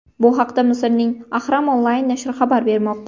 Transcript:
Bu haqda Misrning Ahram Online nashri xabar bermoqda .